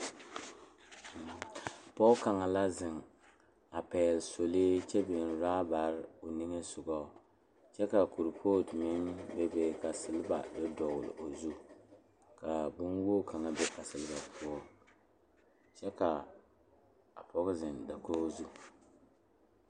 Pɔɔ kaŋa la zeŋ a pɛgle solee kyɛ biŋ rabare o nimisogɔ. Kyɛ ka kurpootu meŋ be be ka seleba do dɔɔl o zu, k'a bonwoo kaŋa be a seleba poɔŋ. Kyɛ k'a a pɔge zeŋ dakoo zu.